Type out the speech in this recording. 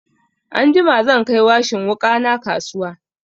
Anjima zan kai washin wuƙa na kasuwa.